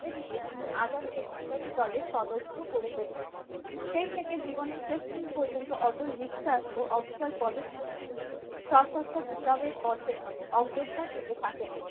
ধীরে ধীরে তিনি আজাদকে বিপ্লবী দলের সদস্য করে তোলেন সেই থেকে জীবনে শেষ দিন পর্যন্ত অটল বিশ্বাস ও অবসর পদক্ষেপে তিনি সশস্ত্র বিপ্লবের পথে অগ্রসর হতে থাকেন ।